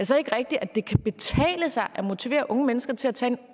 så ikke rigtigt at det kan betale sig at motivere unge mennesker til at tage